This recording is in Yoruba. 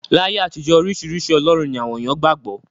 Láyé àtijọ́, oríṣiríṣi ọlọ́run ni àwọn èèyàn qgbà gbọ́.